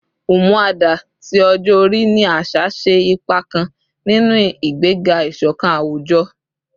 “Umuada” ti ọjọ-ori ni aṣa ṣe ipa kan ninu igbega iṣọkan awujọ